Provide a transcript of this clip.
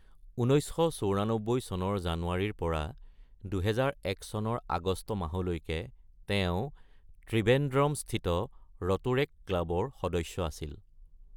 ১৯৯৪ চনৰ জানুৱাৰীৰ পৰা ২০০১ চনৰ আগষ্ট মাহৰলৈকে তেওঁ ত্ৰিভেন্দ্ৰমস্থিত ৰ’টোৰেক্ট ক্লাবৰ সদস্য আছিল।